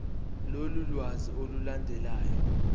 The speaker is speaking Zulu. lolu lwazi olulandelayo